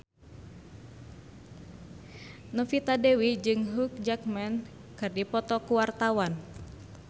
Novita Dewi jeung Hugh Jackman keur dipoto ku wartawan